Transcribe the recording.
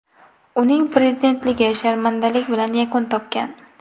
Uning prezidentligi sharmandalik bilan yakun topgan.